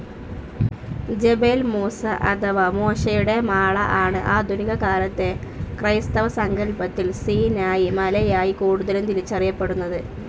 Jebel Musa അഥവാ മോശയുടെ മാള ആണ് ആധുനികകാലത്തെ ക്രൈസ്തവസങ്കല്പത്തിൽ സീനായി മലയായി കൂടുതലും തിരിച്ചറിയപ്പെടുന്നത്.